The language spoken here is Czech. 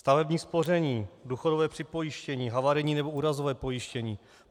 Stavební spoření, důchodové připojištění, havarijní nebo úrazové pojištění.